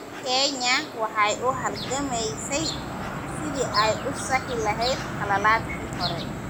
Kenya waxay u halgamaysay sidii ay u saxi lahayd khaladaadkii hore.